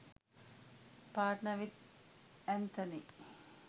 partner with anthony